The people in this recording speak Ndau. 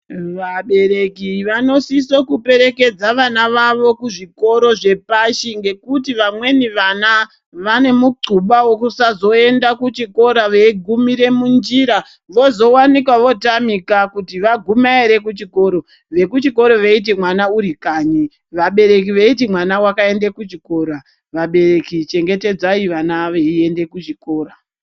Vabereki vanosiso kuperekedza vana vavo kuzvikoro zvepashi ngokuti vamweni vana vane muxuba wekuzoenda kuchikora veigumire munjira vozowanika vootamika kuti vaguma ere kuchikoro vekuchikoro veiti mwana uri kanyi, vabereki veiti mwana wakaende kuchikora. Vabereki chengetedzai vana veiende kuzvikora.